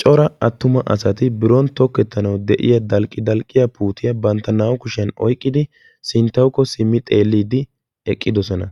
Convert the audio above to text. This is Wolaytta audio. Cora attuma asati biron tokettanawu de"iyaa dalqqidalqqiyaa puutiya bantta naa"u kushiyan oyqqidi sinttawukko simmi xeelliiddi eqqidosona.